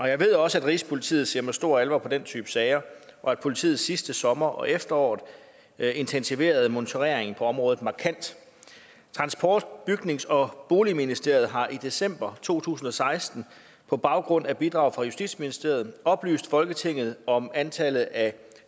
jeg ved også at rigspolitiet ser med stor alvor på den type sager og at politiet sidste sommer og efterår intensiverede monitoreringen på området markant transport bygnings og boligministeriet har i december to tusind og seksten på baggrund af bidrag fra justitsministeriet oplyst folketinget om antallet af